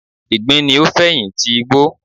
Ìgbín ni o fẹ̀yin ti igbó